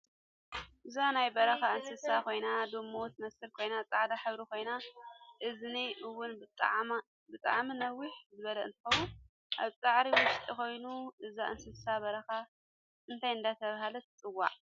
እዛ ናይ በረካ እንስሳ ኮይና ዱሙ ትመስል ኮይና ፃዕዳ ሕብሪ ኮይኑ እዝና እውን ብጣዓሚ ንውሕ ዝበለ እንትከውን ኣብ ሳዕሪ ውሽጢ ኮይና እዛ እንስሳ በራካ እንታይ እደተባሃለት ትፅዋዕ?